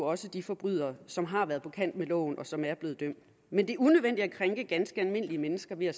også de forbrydere som har været på kant med loven og som er blevet dømt men det er unødvendigt at krænke ganske almindelige mennesker ved at